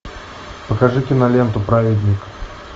покажи киноленту праведник